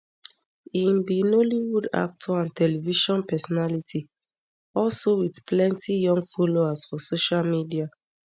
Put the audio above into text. im be nollywoodactor and television personality also wit plenti young followers for social media